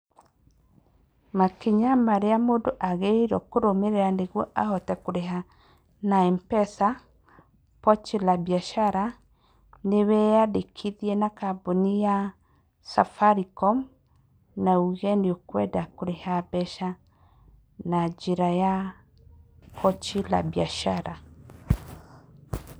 Makinya marĩa mũndũ agĩrĩirwo kũrũmĩrĩra nĩguo ahote kũrĩha na M-pesa Pochi la Biashara, nĩ weyandĩkithia na kambuni ya Safaricom na uge nĩũkwenda kũrĩha mbeca na njĩra ya Pochi la Biashara.